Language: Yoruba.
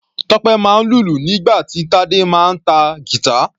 Tope máa ń lùlù nígbà tí Tade máa ń ta guitar.